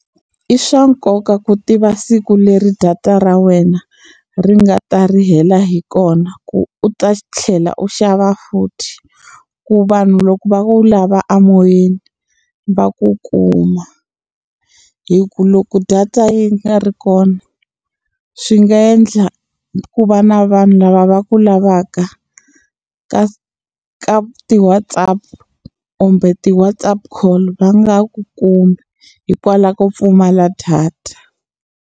I swa nkoka ku tiva siku leri data ra wena ri nga ta ri hela hi kona ku u ta tlhela u xava futhi ku vanhu loko va u lava a moyeni va ku kuma hi ku loko data yi nga ri kona swi nga endla ku va na vanhu lava va ku lavaka ka ka ti-WhatsApp kumbe ti-WhatsApp call va nga ku kumi hikwalaho ko pfumala data.